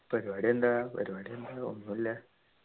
പരിപാടി എന്താ പരിപാടി എന്താ ഒന്നുല്ല